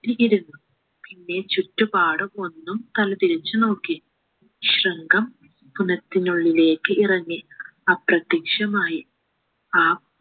ത്തി കിടന്നു പിന്നെ ചുറ്റുപാടും ഒന്നു തിരിച്ചു നോക്കി ശൃങ്കം കിണറ്റിനുള്ളിലേക്ക് ഇറങ്ങി അപ്രത്യക്ഷമായി ആ